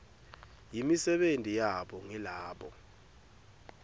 yimisebenti yabo ngilabo